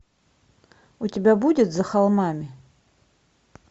у тебя будет за холмами